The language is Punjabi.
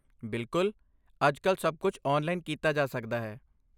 ਬਿਲਕੁਲ! ਅੱਜ ਕੱਲ੍ਹ ਸਭ ਕੁਝ ਆਨਲਾਈਨ ਕੀਤਾ ਜਾ ਸਕਦਾ ਹੈ।